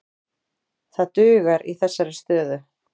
Það dugar í þessa stöðu.